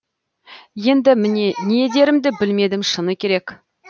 енді мен не дерімді білмедім шыны керек